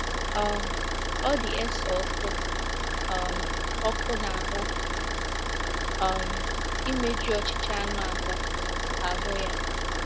um Ọ dị Esau ọkụ um ọkụ n’ahụ́ um imeju ọchịchọ anụ ahụ́ ahụ́ ya.